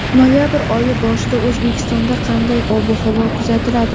Noyabr oyi boshida O‘zbekistonda qanday ob-havo kuzatiladi.